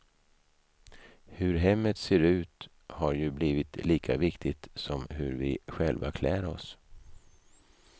Hur hemmet ser ut har ju blivit lika viktigt som hur vi själva klär oss.